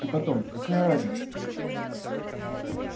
и потом какая разница